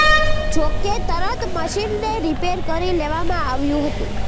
જો કે તરત મશીનને રિપેર કરી લેવામાં આવ્યું હતું